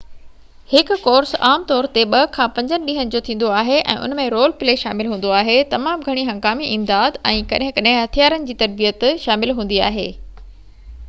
هڪ ڪورس عام طور تي 2-5 ڏينهن جو ٿيندو آهي ۽ ان ۾ رول پلي شامل هوندو آهي تمام گهڻي هنگامي امداد ۽ ڪڏهن ڪڏهن هٿيارن جي تربيت شامل هوندي آهي